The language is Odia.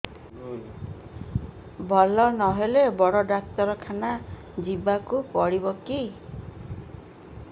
ଭଲ ନହେଲେ ବଡ ଡାକ୍ତର ଖାନା ଯିବା କୁ ପଡିବକି